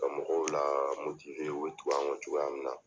Ka mɔgɔw l u bɛ tugu an kɔ cogoya min na.